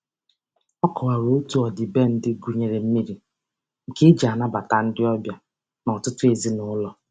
Ọ kọwara otu ọdịbendị gụnyere mmiri, nke e ji anabata ndị ọbịa n'ọtụtụ ezinaụlọ.